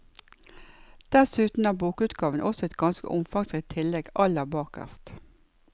Dessuten har bokutgaven også et ganske omfangsrikt tillegg aller bakerst.